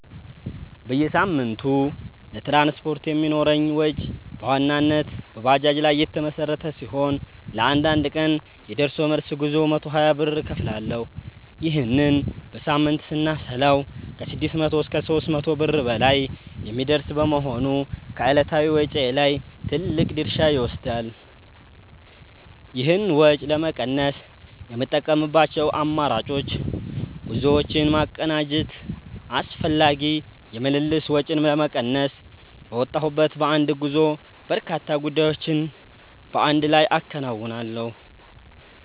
በየሳምንቱ ለትራንስፖርት የሚኖረኝ ወጪ በዋናነት በባጃጅ ላይ የተመሠረተ ሲሆን፣ ለአንድ ቀን የደርሶ መልስ ጉዞ 120 ብር እከፍላለሁ። ይህንን በሳምንት ስናሰላው ከ600 እስከ 800 ብር በላይ የሚደርስ በመሆኑ ከዕለታዊ ወጪዬ ላይ ትልቅ ድርሻ ይወስዳል። ይህን ወጪ ለመቀነስ የምጠቀምባቸው አማራጮች፦ ጉዞዎችን ማቀናጀት፦ አላስፈላጊ የምልልስ ወጪን ለመቀነስ፣ በወጣሁበት በአንድ ጉዞ በርካታ ጉዳዮችን በአንድ ላይ አከናውናለሁ።